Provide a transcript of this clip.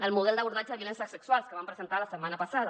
el model d’abordatge de violències sexuals que van presentar la setmana passada